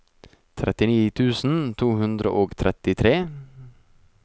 trettini tusen to hundre og trettitre